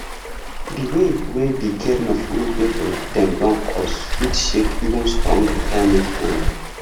the way wey the caring of old pipu dem don coste fit shake even strong retirement plan